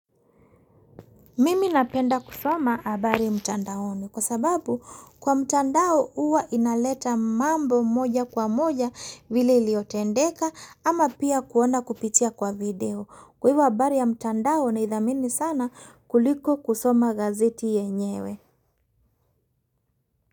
Mimi napenda kusoma habari mtandaoni kwa sababu kwa mtandao uwa inaleta mambo moja kwa moja vile iliotendeka ama pia kuona kupitia kwa video. Kwa ivo habari ya mtanda naidhamini sana kuliko kusoma gazeti yenyewe.